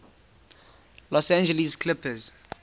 los angeles clippers